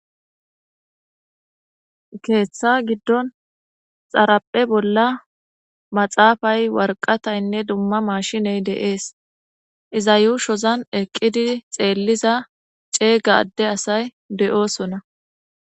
keeththa giddon xarapphe bolla maxaafay warqataynne dumma mashiney deees iza yuushozan eqqidi xeelliza ceeyga adde asay de7oosona